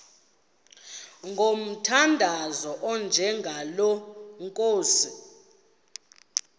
ngomthandazo onjengalo nkosi